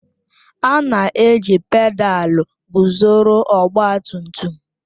A na-eji pedalu guzoro ọgba tum tum